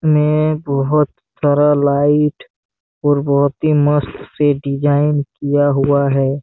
ने बहोत सारा लाइट और बहोत ही मस्त से डिज़ाइन किया हुआ है।